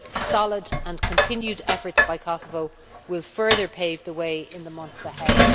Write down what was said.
Solid and continued efforts by Kosovo will further pave the way in the months ahead.